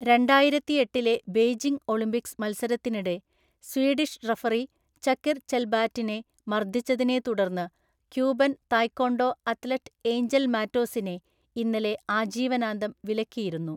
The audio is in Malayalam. രണ്ടായിരത്തിഎട്ടിലെ ബെയ്‌ജിംഗ് ഒളിമ്പിക്‌സ് മത്സരത്തിനിടെ സ്വീഡിഷ് റഫറി ചകിർ ചെൽബാറ്റിനെ മർദിച്ചതിനെ തുടർന്ന് ക്യൂബൻ തായ്‌ക്വോണ്ടോ അത്‌ലറ്റ് ഏഞ്ചൽ മാറ്റോസിനെ ഇന്നലെ ആജീവനാന്തം വിലക്കിയിരുന്നു.